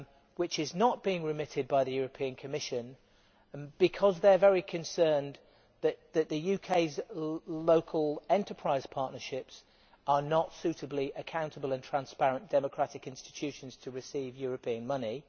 which is not being remitted by the Commission because they are very concerned that the UK's local enterprise partnerships are not suitably accountable and transparent democratic institutions to receive European money.